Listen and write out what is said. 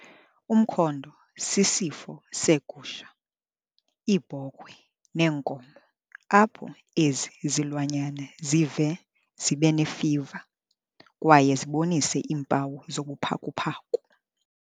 Umkhondo sisifo seegusha, iibhokhwe neenkomo apho ezi zilwanyana zive zibe nefiva kwaye zibonise iimpawu zobuphakuphaku.